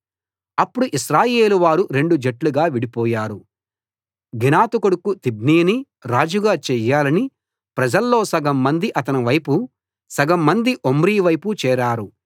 అప్పుడు ఇశ్రాయేలు వారు రెండు జట్లుగా విడిపోయారు గీనతు కొడుకు తిబ్నీని రాజుగా చేయాలని ప్రజల్లో సగం మంది అతని వైపు సగం మంది ఒమ్రీ వైపు చేరారు